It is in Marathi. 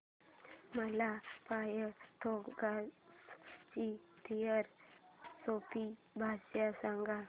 मला पायथागोरस ची थिअरी सोप्या भाषेत सांग